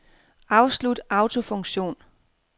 Afslut autofunktion.